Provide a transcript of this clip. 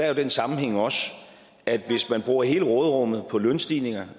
jo den sammenhæng også at hvis man bruger hele råderummet på lønstigninger